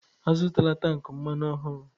Azụtala tank mmanụ ọhụrụ!